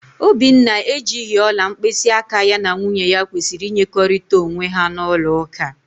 Obinna ejighị ọla mkpịsịaka ya na nwunye ya kwesịrị ịnyekọrịta onwe ha n'ụlọụka.